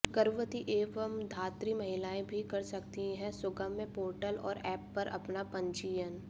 गर्भवती एवं धात्री महिलाएं भी कर सकती हैं सुगम्य पोर्टल और एप पर अपना पंजीयन